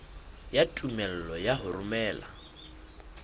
ya tumello ya ho romela